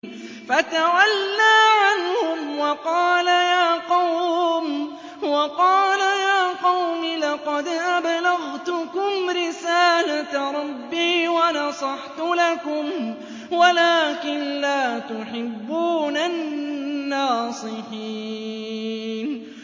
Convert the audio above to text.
فَتَوَلَّىٰ عَنْهُمْ وَقَالَ يَا قَوْمِ لَقَدْ أَبْلَغْتُكُمْ رِسَالَةَ رَبِّي وَنَصَحْتُ لَكُمْ وَلَٰكِن لَّا تُحِبُّونَ النَّاصِحِينَ